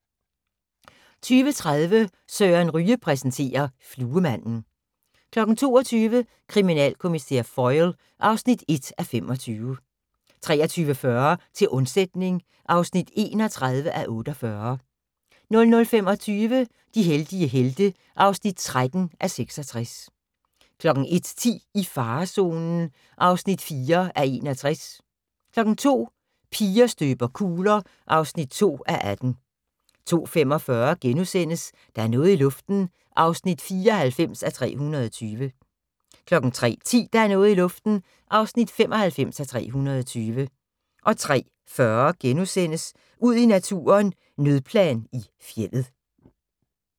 20:30: Søren Ryge præsenterer: Fluemanden 22:00: Kriminalkommissær Foyle (1:25) 23:40: Til undsætning (31:48) 00:25: De heldige helte (13:66) 01:10: I farezonen (4:61) 02:00: Piger støber kugler (2:18) 02:45: Der er noget i luften (94:320)* 03:10: Der er noget i luften (95:320) 03:40: Ud i naturen: Nødplan i fjeldet *